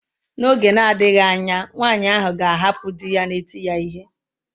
N'oge na-adịghị anya nwaanyị ahụ ga-ahapụ di ya na-eti ya ihe.